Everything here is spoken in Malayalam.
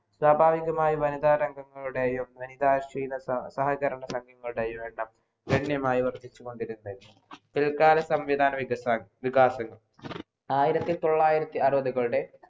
സ്വാഭാവികമായും വനിതാ രംഗങ്ങളുടേയും വനിതാ ക്ഷീത സഹകരണങ്ങളുടെയും എണ്ണം ധന്യമായി വർധിച്ചുകൊണ്ടേയിരുന്നു പിൽക്കാല സംവിധാന വികസ വികാസങ്ങൾ ആയിരത്തി തൊള്ളായിരത്തി അറുവതുകളുടെ